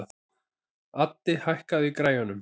Addi, hækkaðu í græjunum.